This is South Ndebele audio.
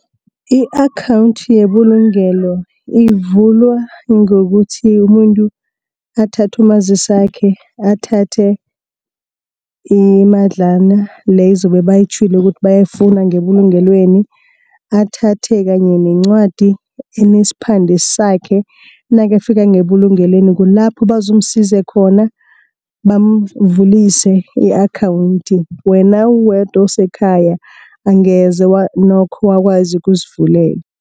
I-akhawunthi yebulugelo ivulwa ngokuthi umuntu athathe umazisi wakhe, athathe imadlana leyo ezobe bayitjhwile ukuthi bayifuna ngebulungelweni. Athathe kanye nencwadi enesiphande sakhe. Nakafika ngebulungelweni kulapho bazomsiza khona, bamvulise i-akhawunthi. Wena uwedwa usekhaya angeze nokho wakwazi ukuzivulela.